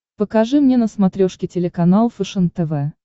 покажи мне на смотрешке телеканал фэшен тв